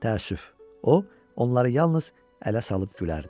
Təəssüf, o onları yalnız ələ salıb gülərdi.